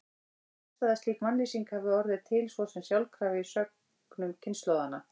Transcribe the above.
Það er fjarstæða að slík mannlýsing hafi orðið til svo sem sjálfkrafa í sögnum kynslóðanna.